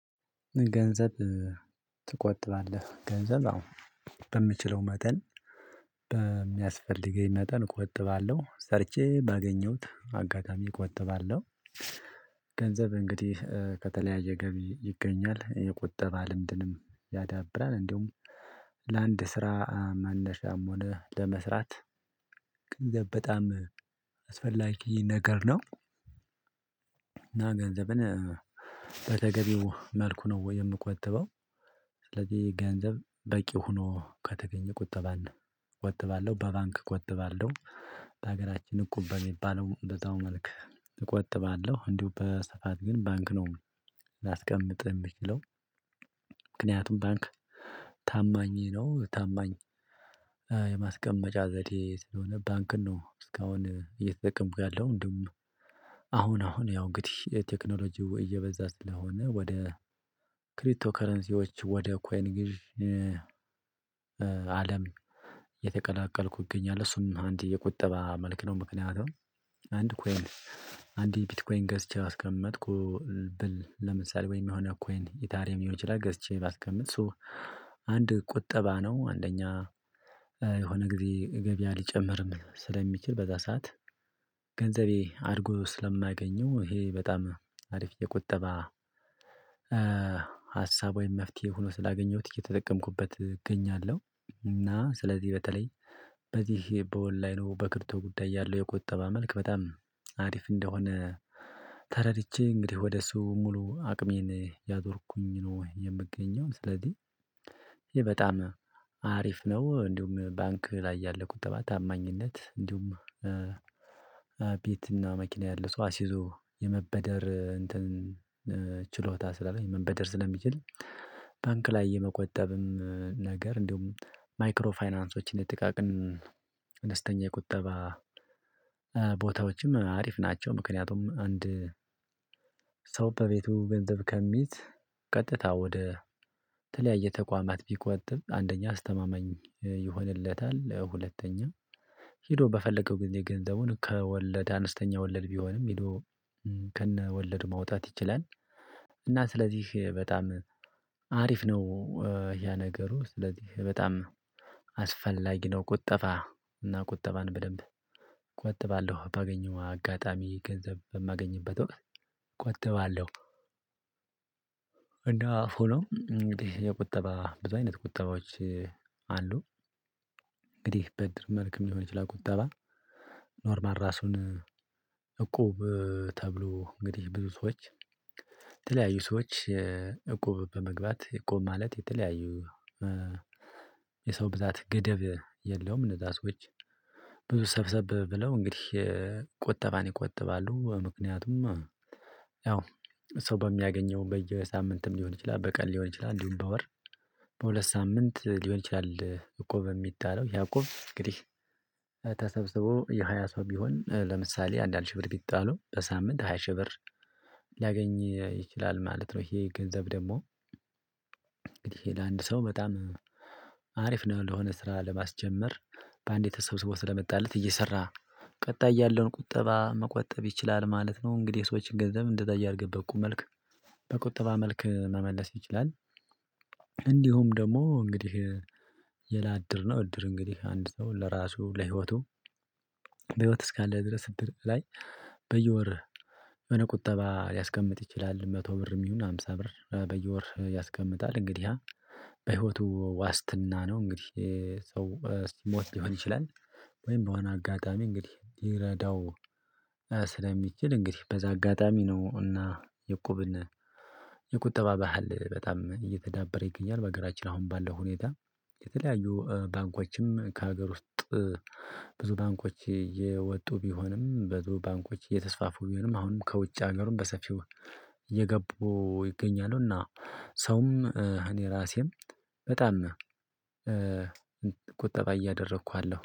ገንዘብ ትቆጥባለህ ገንዘብ አዎ በምችለው መጠን በሚያስፈልገኝ መጠን እቆጥባለሁ ሰርቼ ባገኘሁት አጋጣሚ እቆጥባለሁ። ገንዘብ እንግዲህ ከተለያየ ገቢ ይገኛል የቁጠባ ልምድንም ያዳብራል እንዲሁም ስራ መነሻም ሆነ ለመስራት ገንዘብ በጣም አስፈላጊ ነገር ነው። እና ገንዘብን በተገቢው መልኩ ነው ወይ የምቆጥበው? ስለዚህ ገንዘብ በቂ ሆኖ ከተገኘ ቆጠባለሁ ቆጠባለሁ በባንክ እቆጥባለሁ። በሀገራችን እቁበን የሚባለው በዛው መልክ እቆጥባለሁ እንዲሁ በስፋት ግን ባንክ ነው። ላስቀምጥ የምችለው። ምክንያቱም ባንክ ታማኝ ነው ታማኝ የማስቀመጫ ዘዴ ስለሆነ ባንክን ነው እስካሁን እየተጠቀምኩ ያለው። እንደውም አሁን አሁን ያው ግድሽ ቴክኖሎጂው እየበዛ ስለሆነ ወደ ክሪቶ ከረንሲዎች ወደ ኮይን ግዢ። አለም የተቀላቀልኩ ይገኛል። እሱን አንድ የቁጠባ መልክ ነው። ምክንያቱም አንድ ኮይን አንድ ቢትኮይን ገዝቼ አስቀመጥኩ ብል ለምሳሌ ወይ የሚሆነው ኮይን ኢታሪየም ሊሆን ይችላል ገዝቼ ባስቀምጥ ሶ አንድ ቁጠባ ነው። አንደኛ የሆነ ጊዜ ገቢ አልጨመርም ስለሚችል በዛ ሰዓት ገንዘቤ አድጎ ስለማገኘው ይሄ በጣም አሪፍ የቁጠባ ሀሳብ ወይም መፍትሄ ሆኖ ስላገኘሁት እየተጠቀምኩበት እገኛለሁ። እና ስለዚህ በተለይ በዚህ በኦንላይኑ በክርቶ ጉዳይ ያለው የቆጠባ መልክ በጣም አሪፍ እንደሆነ ተረድቼ እንግዲህ ወደ እሱ ሙሉ አቅሜን ያዞርኩኝ ነው። የምገኘው ስለዚህ ይሄ በጣም አሪፍ ነው። እንዲሁም ባንክ ላይ ያለው ተባታማኝነት እንዲሁም ቤትና መኪና ያለ ሰው አስይዞ የመበደር እንትን ችሎታ ስላለ የመበደር ስለሚችል ባንክ ላይ የመቆጠብም ነገር እንዲሁም ማይክሮ ፋይናንሶችን የጥቃቅን አነስተኛ የቁጠባ ቦታዎችም አሪፍ ናቸው። ምክንያቱም አንድ በቤቱ ገንዘብ ከሚይዝ ቀጥታ ወደ ተለያየ ተቋማት ቢቆጥብ አንደኛ አስተማማኝ ይሆንለታል። ሁለተኛ ሄዶ በፈለገው ጊዜ ገንዘቡን ከወለደ አንስተኛ ወለድ ቢሆንም ሄዶ ከነ ወለድ ማውጣት ይችላል። እና ስለዚህ በጣም አሪፍ ነው። ያ ነገሩ ስለዚህ በጣም አስፈላጊ ነው። ቁጠባ እና ቁጠባን በደንብ ቆጥባለሁ ባገኘው አጋጣሚ ገንዘብ በማገኝበት ወቅት እቆጥባለሁ። እንደው ፎሎ የቁጠባ ብዙ አይነት ቂጠባዎች። እንግዲህ በድር መልኩም የሚሆን ይችላል ቁጠባ ኖርማል ራሱን እቁብ ተብሎ እንግዲህ ብዙ ሰዎች የተለያዩ ሰዎች እቁብ በመግባት እቁብ ማለት የተለያዩ የሰው ብዛት ግደብ የለውም እነዛ ሰዎች ሰብሰብ ብለው እንግዲህ ቁጠባን ይቆጥባሉ። ምክንያቱም ያው ሰው በሚያገኘው በየሳምንትም ሊሆን ይችላል በቀል ሊሆን ይችላል እንዲሁም በወር በሁለት ሳምንት ሊሆን ይችላል። እቁብ በሚጣለው ያእቁብ እንግዲህ ተሰብስቦ የሃያ ሰው ቢሆን ለምሳሌ አንዳንድ ሺህ ብር ቢጣሉ በሳምንት ሃያ ሺህ ብር ሊያገኝ ይችላል ማለት ነው። ይሄ ገንዘብ ደግሞ ለአንድ ሰው በጣም አሪፍ ነው። ለሆነ ስራ ለማስጀመር በአንዴ ተሰብስቦ ስለመጣለት እየሰራ ቀጣይ ያለውን ቁጠባ መቆጠብ ይችላል ማለት ነው። እንግዲህ ሰዎችን ገንዘብ እንደታየ አድርገበት ቁም መልክ በቁጠባ መልክ መመለስ ይችላል። እንዲሁም ደግሞ እንግዲህ ሌላ ነው እድር እንግዲህ አንድ ሰው ለራሱ ለህይወቱ በህይወት እስካለ ድረስ እድር ላይ በየወር የሆነ ቁጠባ ሊያስቀምጥ ይችላል። መቶ ብርም ይሁን ሃምሳ ብር በየወር ያስቀምጣል እንግዲህ በህይወቱ ዋስትና ነው። እንግዲህ ሰው ሞት ሊሆን ይችላል ወይም በሆነ አጋጣሚ እንግዲህ ይረዳው ስለሚችል እንግዲህ በዛ አጋጣሚ ነው። እና የቁብን የቁጠባ ባህል በጣም እየተዳበረ ይገኛል። በአገራችን አሁን ባለው ሁኔታ የተለያዩ ባንኮችም ከሀገር ውስጥ ብዙ ባንኮች የወጡ ቢሆንም ብዙ ባንኮች እየተስፋፉ ቢሆንም አሁንም ከውጭ ሀገሩም በሰፊው እየገቡ ይገኛሉና። ሰውም እኔ ራሴም በጣም ቁጠባ እያደረኩ አለሁ